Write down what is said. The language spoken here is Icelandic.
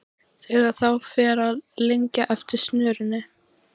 Þegar þá fer að lengja eftir snörunni.